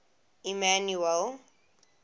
emmanuele